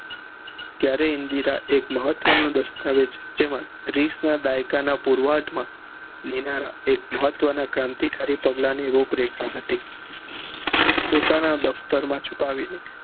ક્યારે ઇન્દીરા એક મહ્વ્ત નું દસ્તાવેજ જેમાં રીસ ના દાયકા ના પુર્વંત માં દેનારા એક મહત્વ ના કામ થી કાર્ય પગલા ની રૂપ રેખા હતી પોતાના ના દફતર માં છુપાવી ને